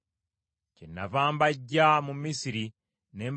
Kyenava mbaggya mu Misiri ne mbatwala mu ddungu.